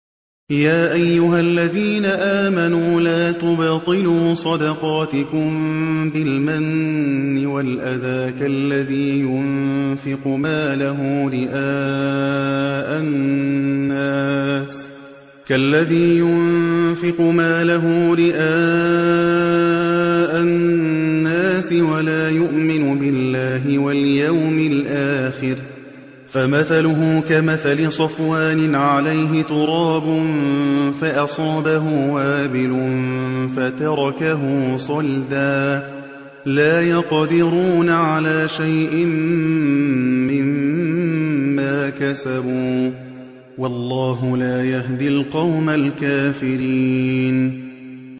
يَا أَيُّهَا الَّذِينَ آمَنُوا لَا تُبْطِلُوا صَدَقَاتِكُم بِالْمَنِّ وَالْأَذَىٰ كَالَّذِي يُنفِقُ مَالَهُ رِئَاءَ النَّاسِ وَلَا يُؤْمِنُ بِاللَّهِ وَالْيَوْمِ الْآخِرِ ۖ فَمَثَلُهُ كَمَثَلِ صَفْوَانٍ عَلَيْهِ تُرَابٌ فَأَصَابَهُ وَابِلٌ فَتَرَكَهُ صَلْدًا ۖ لَّا يَقْدِرُونَ عَلَىٰ شَيْءٍ مِّمَّا كَسَبُوا ۗ وَاللَّهُ لَا يَهْدِي الْقَوْمَ الْكَافِرِينَ